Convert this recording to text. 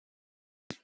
Þungt pass.